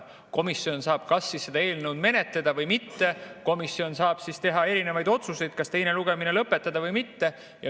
Komisjon saab seda eelnõu menetleda või mitte, komisjon saab teha erinevaid otsuseid, kas teine lugemine lõpetada või mitte.